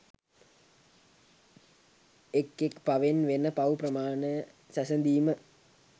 එක් එක් පවෙන් වෙන පව් ප්‍රමාණය සැසඳීම